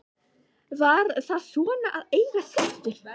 Var það svona að eiga systur?